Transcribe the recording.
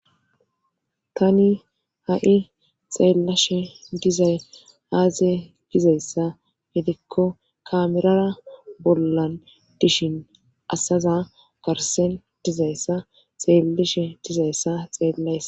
tani ha7i xeellashe dizay aazie dizayssa gedikko kaamerara bollan dishin asaza garsen dizayssa xeellishe dizayssa xeellaysa